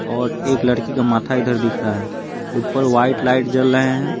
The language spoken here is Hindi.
और एक लड़की का माथा इधर दिख रहा है ऊपर वाइट लाइट जल रहे हैं।